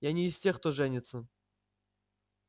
я не из тех кто женится